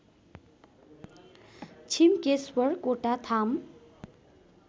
Chhimkeshwar Kotatham